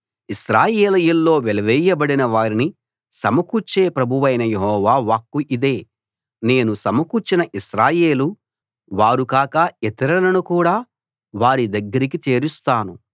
ఇశ్రాయేలీయుల్లో వెలివేయబడిన వారిని సమకూర్చే ప్రభువైన యెహోవా వాక్కు ఇదే నేను సమకూర్చిన ఇశ్రాయేలు వారు కాక ఇతరులను కూడా వారి దగ్గరికి చేరుస్తాను